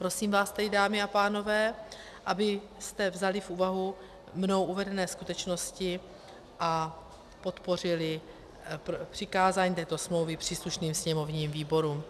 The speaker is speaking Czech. Prosím vás tedy, dámy a pánové, abyste vzali v úvahu mnou uvedené skutečnosti a podpořili přikázání této smlouvy příslušným sněmovním výborům.